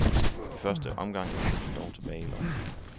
I første omgang endte den dog tilbage i lommen.